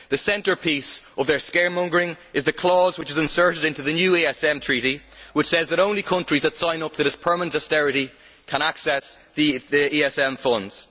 The centrepiece of their scaremongering is the clause which is inserted into the new ESM Treaty which says that only countries that sign up to this permanent austerity can access the ESM funds.